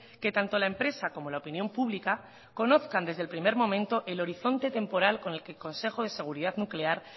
que tanto la empresa como la opinión pública conozcan desde el primer momento el horizonte temporal con el que el consejo de seguridad nuclear